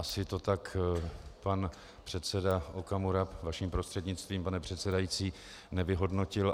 Asi to tak pan předseda Okamura, vaším prostřednictvím, pane předsedající, nevyhodnotil.